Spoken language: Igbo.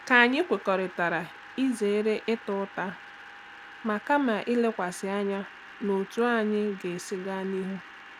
Ka anyị kwekọrịta izere ịta ụta ma kama lekwasị anya n'otú anyị ga-esi gaa n'ihu.